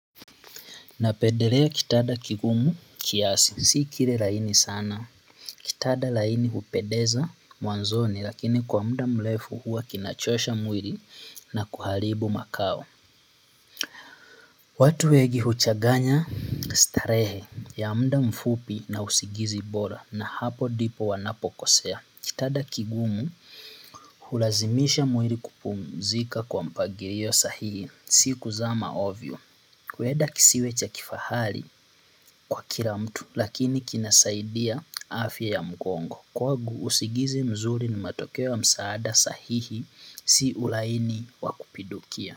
Napendelea kitanda kigumu kiasi, si kile laini sana, kitanda laini hupendeza mwanzoni lakini kwa muda mrefu huwa kinachosha mwili na kuharibu makao. Watu wengi huchanganya starehe ya muda mfupi na usingizi bora na hapo ndipo wanapokosea. Kitanda kigumu, hulazimisha mwili kupumzika kwa mpangilio sahihi, si kuzama ovyo. Huenda kisiwe cha kifahari kwa kila mtu lakini kinasaidia afya ya mgongo. Kwangu usingizi mzuri ni matokeo ya msaada sahihi si ulaini wa kupindukia.